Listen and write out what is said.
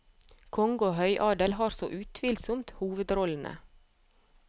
Konge og høyadel har så utvilsomt hovedrollene.